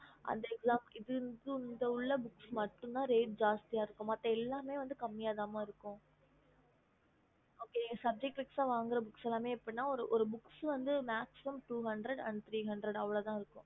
இந்த மட்டுத reat சத்திய இருக்கும் மத்த எல்லாமே கம்மியா ம இருக்கும் okay okey mam subject voices book One hundred and two hundred தா இருக்கும்